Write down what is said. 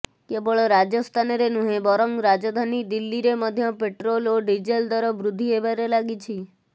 କେବଳ ରାଜସ୍ଥାନରେ ନୁହେଁ ବରଂ ରାଜଧାନୀ ଦିଲ୍ଲୀରେ ମଧ୍ୟ ପେଟ୍ରୋଲ ଓ ଡିଜେଲ୍ ଦର ବୃଦ୍ଧି ହେବାରେ ଲାଗିଛି